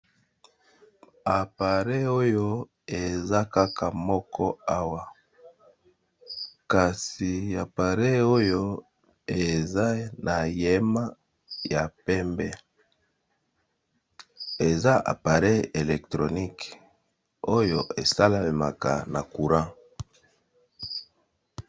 Appareil oyo eza kaka moko awa kasi appareil oyo eza na yema ya pembe eza appareil electronique oyo esalemaka na courant.